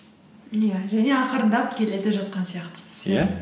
иә және ақырындап келе де жатқан сияқтымыз иә